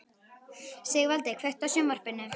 Sigvaldi, kveiktu á sjónvarpinu.